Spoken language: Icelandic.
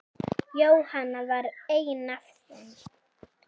Jóhanna var ein af þeim.